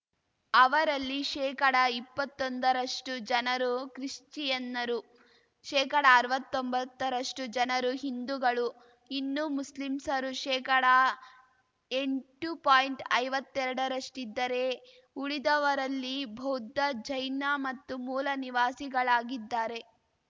ಅವರಲ್ಲಿ ಶೇಕಡಇಪ್ಪತ್ತೊಂದರಷ್ಟುಜನರು ಕ್ರಿಶ್ಚಿಯನ್ನರು ಶೇಕಡಅರ್ವತ್ತೊಂಬತ್ತರಷ್ಟುಜನರು ಹಿಂದುಗಳು ಇನ್ನು ಮುಸ್ಲಿಮ್ಸರು ಶೇಕಡಎಂಟು ಪಾಯಿಂಟ್ಐವತ್ತೆರಡರಷ್ಟಿದ್ದರೆ ಉಳಿದವರಲ್ಲಿ ಬೌದ್ಧ ಜೈನ ಮತ್ತು ಮೂಲ ನಿವಾಸಿಗಳಾಗಿದ್ದಾರೆ